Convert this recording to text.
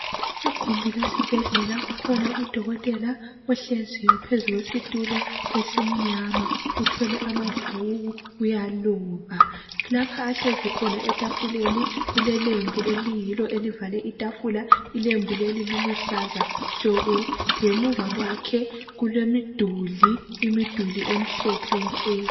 Igumbi lesibhedlela kukhona udokotela ohleziyo phezu kwesitulo esimnyama uthwele amabhuku uyaluka. Lapha ahlezi khona etafuleni kule lelembu eliyilo elivale itafula ilembu leli liluhlaza tshoko. Ngemuva kwakhe kulemiduli, imiduli emhlophe nke.